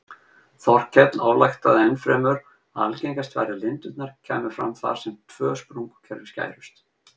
Þorkell ályktaði ennfremur að algengast væri að lindirnar kæmu fram þar sem tvö sprungukerfi skærust.